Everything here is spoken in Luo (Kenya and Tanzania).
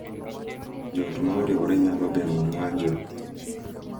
Jo ot ma oriwre nyalo geng’o ng’anjo